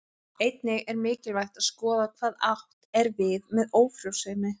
Einnig er mikilvægt að skoða hvað átt er við með ófrjósemi.